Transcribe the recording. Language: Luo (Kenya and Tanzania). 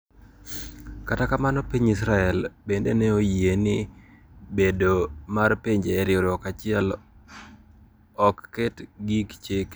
Kata kamano piny Israel bende ne oyie ni bedo mar pinje e riwruok achiel ok ket gi chike.